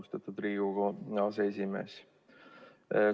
Austatud Riigikogu aseesimees!